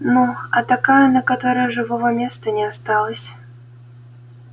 ну а такая на которой живого места не осталось